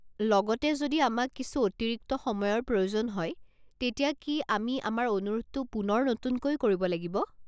লগতে যদি আমাক কিছু অতিৰিক্ত সময়ৰ প্ৰয়োজন হয়, তেতিয়া কি আমি আমাৰ অনুৰোধটো পুনৰ নতুনকৈ কৰিব লাগিব?